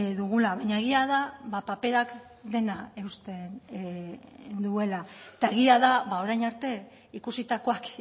dugula baina egia da paperak dena eusten duela eta egia da orain arte ikusitakoak